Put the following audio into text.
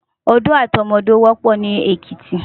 Odó àti ọmọ odó wòpò ni Ekiti